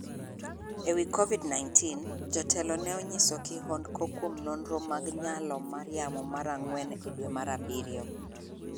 E wi Covid-19, jotelo ne onyiso kihondko kuom nonro mag nyalo mar yamo mar ang'wen e dwe mar abiriyo.